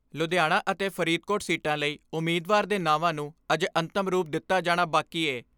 ਲੁਧਿਆਣਾ ਅਤੇ ਫਰੀਦਕੋਟ ਸੀਟਾਂ ਲਈ ਉਮੀਦਵਾਰ ਦੇ ਨਾਵਾਂ ਨੂੰ ਅਜੇ ਅੰਤਮ ਰੂਪ ਦਿੱਤਾ ਜਾਣਾ ਬਾਕੀ ਏ।